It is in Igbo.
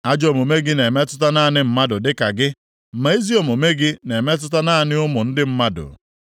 Ajọ omume gị na-emetụta naanị mmadụ dịka gị, ma ezi omume gị na-emetụta naanị ụmụ ndị mmadụ.